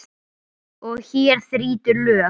Og hér þrýtur lög.